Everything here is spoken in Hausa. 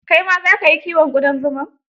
Kai ma za ka yi kiwon ƙudan zuman?